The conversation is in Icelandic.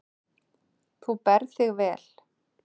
Þú berð þig vel.